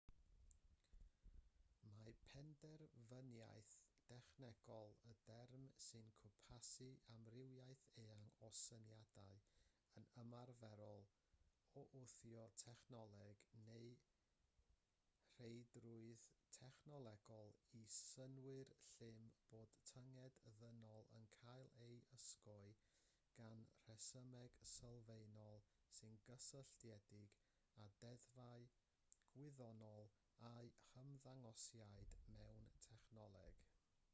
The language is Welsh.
mae penderfyniaeth dechnolegol yn derm sy'n cwmpasu amrywiaeth eang o syniadau yn ymarferol o wthio technoleg neu'r rheidrwydd technolegol i synnwyr llym bod tynged ddynol yn cael ei ysgogi gan resymeg sylfaenol sy'n gysylltiedig â deddfau gwyddonol a'u hymddangosiad mewn technoleg